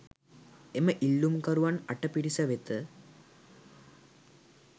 එම ඉල්ලුම්කරුවන් අට පිරිස වෙත